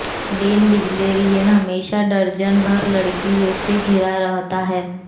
Dane Bilzerian हमेशा दर्जन भर लड़कियों से घिरा रहता है